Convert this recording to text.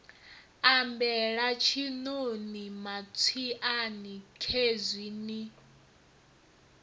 ambela tshiṋoni matswiani khezwi ni